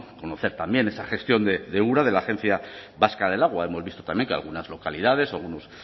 conocer también esa gestión de ura de la agencia vasca del agua hemos visto también que algunas localidades algunos